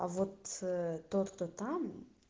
а вот тот кто там